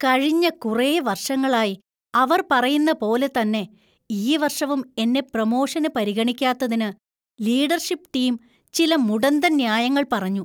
കഴിഞ്ഞ കുറേ വർഷങ്ങളായി അവർ പറയുന്ന പോലെത്തന്നെ, ഈ വർഷവും എന്നെ പ്രമോഷന് പരിഗണിക്കാത്തതിന് ലീഡർഷിപ്പ് ടീം ചില മുടന്തൻ ന്യായങ്ങൾ പറഞ്ഞു.